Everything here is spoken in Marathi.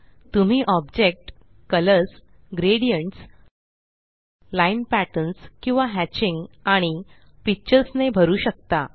तुम्ही object colours gradients line patterns किंवा हॅचिंग आणि पिक्चर्स ने भरू शकता